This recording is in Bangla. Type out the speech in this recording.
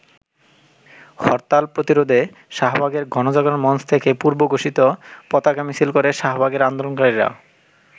হরতাল প্রতিরোধে শাহবাগের গণজাগরণ মঞ্চ থেকে পূর্বঘোষিত পতাকা মিছিল করে শাহবাগের আন্দোলনকারীরা।